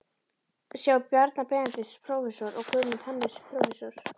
sjá Bjarna Benediktsson, prófessor, og Guðmund Hannesson, prófessor.